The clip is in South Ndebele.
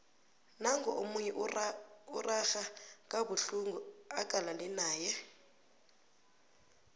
nangu omunye urarha kabuhlungu acalane naye